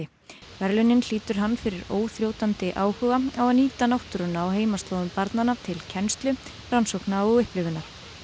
verðlaunin hlýtur hann fyrir óþrjótandi áhuga að nýta náttúruna á heimaslóðum barnanna til kennslu rannsókna og upplifunar